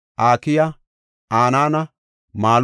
Akiya, Hanana, Anaana,